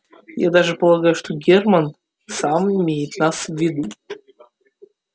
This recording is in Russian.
я даже полагаю что герман сам имеет на вас виды